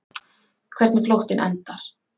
Hvernig flóttinn endar.